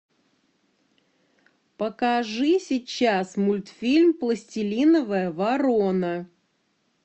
покажи сейчас мультфильм пластилиновая ворона